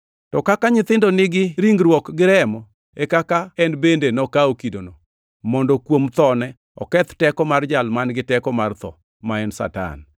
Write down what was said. To kaka nyithindo nigi ringruok gi remo e kaka en bende nokawo kidono, mondo kuom thone oketh teko mar jal man-gi teko mar tho, ma en Satan,